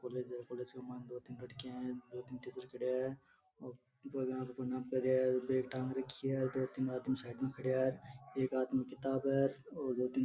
कॉलेज है कॉलेज के बाहर दो तीन लड़किया है दो तीन टीचर खड़िया है और दो प्रणाम कर रिया है बैग टांग राखी है दो तीन आदमी साइड में खड़िया है एक आदमी किताब --